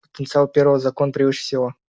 потенциал первого закона превыше всего